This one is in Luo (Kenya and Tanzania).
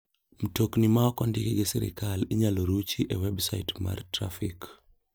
Mtokni ma ok ondiki gi sirkal inyal ruchi e websait mar trafik.